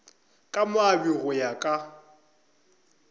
ka moabi go ya ka